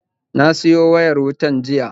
Na siyo wayar wutan jiya